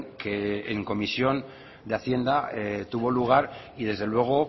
que en comisión de hacienda tuvo lugar y desde luego